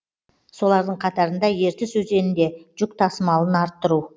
солардың қатарында ертіс өзенінде жүк тасымалын арттыру